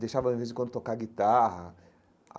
Deixava, de vez em quando, tocar guitarra.